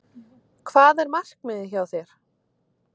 Hvað er markmiðið hjá þér?